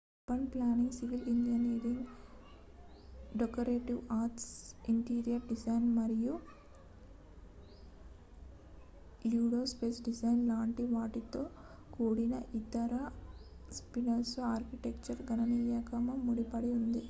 urban planning civil engineering decorative arts interior design మరియు landscape design లాంటి వాటితో కూడిన ఇతర ఫీల్డ్లతో ఆర్కిటెక్చర్ గణనీయంగా ముడిపడి ఉంది